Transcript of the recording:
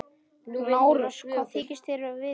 LÁRUS: Hvað þykist þér vita?